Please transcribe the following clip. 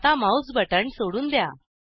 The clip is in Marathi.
आता माऊस बटण सोडून द्या